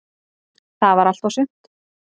Það var allt og sumt.